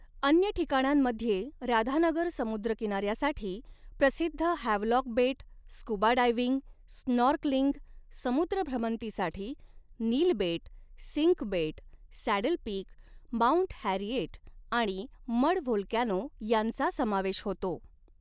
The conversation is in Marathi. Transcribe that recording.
अन्य ठिकाणांमध्ये राधानगर समुद्रकिनाऱ्यासाठी प्रसिद्ध हॅवलॉक बेट, स्कूबा डायव्हिंग, स्नॉर्कलिंग, समुद्र भ्रमंतीसाठी नील बेट, सिंक बेट, सॅडल पीक, माऊंट हॅरिएट आणि मड व्होल्कॅनो यांचा समावेश होतो.